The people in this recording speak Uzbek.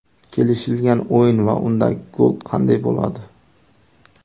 Kelishilgan o‘yin va undagi gol qanday bo‘ladi?